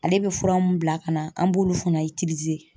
Ale bɛ fura mun bila ka na an b'olu fana